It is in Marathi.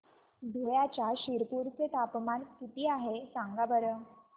धुळ्याच्या शिरपूर चे तापमान किता आहे सांगा बरं